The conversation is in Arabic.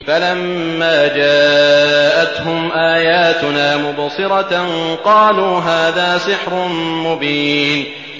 فَلَمَّا جَاءَتْهُمْ آيَاتُنَا مُبْصِرَةً قَالُوا هَٰذَا سِحْرٌ مُّبِينٌ